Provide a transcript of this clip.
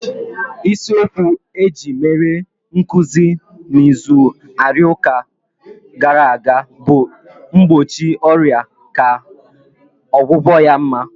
Isi okwu eji mere nkụzi na izu arụike gara aga bụ "mgbochi ọrịa ka ọgwụgwụ ya mma"